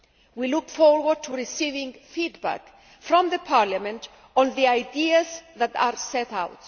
We look forward to receiving feedback from Parliament on the ideas that are set out.